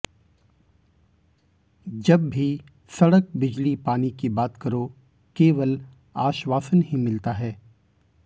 जब भी सड़क बिजली पानी की बात करो केवल आश्वासन ही मिलता है